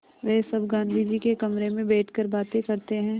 वे सब गाँधी जी के कमरे में बैठकर बातें करते हैं